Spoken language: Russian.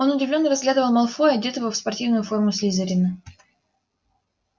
он удивлённо разглядывал малфоя одетого в спортивную форму слизерина